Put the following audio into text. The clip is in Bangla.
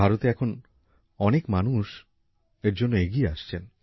ভারতে এখন অনেক মানুষ এর জন্য এগিয়ে আসছেন